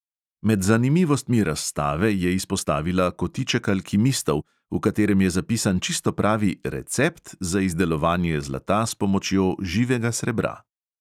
Med zanimivostmi razstave je izpostavila kotiček alkimistov, v katerem je zapisan čisto pravi "recept" za izdelovanje zlata s pomočjo živega srebra.